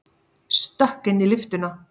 Stökk inn í lyftuna.